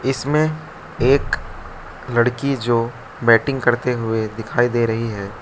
इसमें एक लड़की जो बैटिंग करते हुए दिखाई दे रही है।